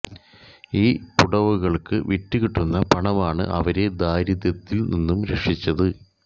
ഈ പുടവകള് വിറ്റ് കിട്ടുന്ന പണമാണ് അവരെ ദാരിദ്ര്യത്തില് നിന്നും രക്ഷിച്ചത്